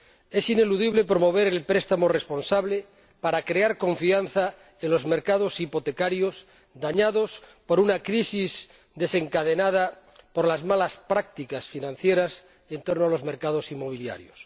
Es ineludible promover el préstamo responsable para crear confianza en los mercados hipotecarios, dañados por una crisis desencadenada por las malas prácticas financieras, y en torno a los mercados inmobiliarios.